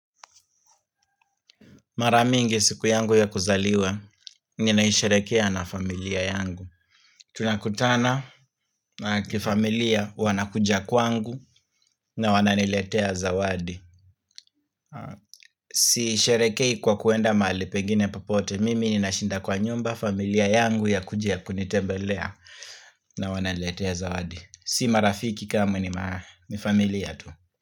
Mara mingi siku yangu ya kuzaliwa, ninaisherehekea na familia yangu. Tunakutana kifamilia, wanakuja kwangu na wananiletia zawadi. Siisherehekei kwa kuenda mali pengine popote e, mimi ninashinda kwa nyumba, familia yangu yakujia kunitembelea na wananiletea zawadi. Si marafiki kama ni familia tu.